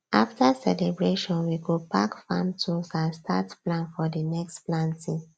after celebration we go pack farm tools and start plan for the next planting